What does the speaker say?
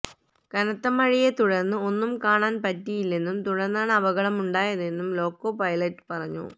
കനത്ത മഴയെതുടര്ന്ന് ഒന്നും കാണാന് പറ്റിയില്ലെന്നും തുടര്ന്നാണ് അപകടമുണ്ടായതെന്നും ലോക്കോ പൈലറ്റ് പറഞ്ഞു